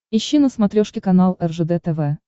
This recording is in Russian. ищи на смотрешке канал ржд тв